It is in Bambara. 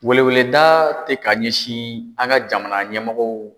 Weleweleda tɛ ka ɲɛsin an ka jamana ɲɛmɔgɔw